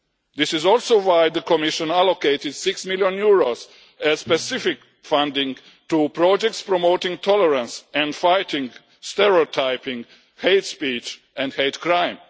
This is also why the Commission allocated EUR 6 million as specific funding to projects promoting tolerance and fighting stereotyping, hate speech and hate crime.